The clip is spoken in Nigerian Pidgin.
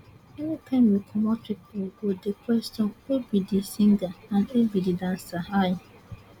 anytime we comot pipo go dey question who be di singer and who be di dancer i